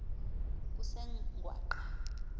kusengwaqa